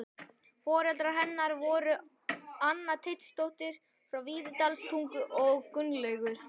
Foreldrar hennar voru þau Anna Teitsdóttir frá Víðidalstungu og Gunnlaugur